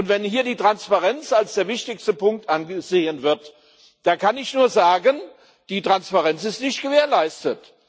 Und wenn hier die Transparenz als der wichtigste Punkt angesehen wird, da kann ich nur sagen Die Transparenz ist nicht gewährleistet.